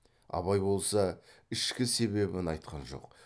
абай болса ішкі себебін айтқан жоқ